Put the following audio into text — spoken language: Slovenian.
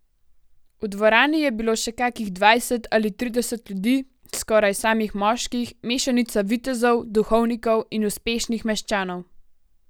V dvorani je bilo še kakih dvajset ali trideset drugih ljudi, skoraj samih moških, mešanica vitezov, duhovnikov in uspešnih meščanov.